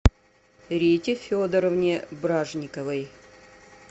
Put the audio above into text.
рите федоровне бражниковой